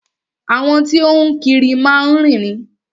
Àwọn tí o ń kiri má ń rìn ni.